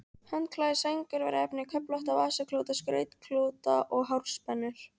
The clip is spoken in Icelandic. Handklæði, sængurveraefni, köflótta vasaklúta, skrautklúta og hárspennur.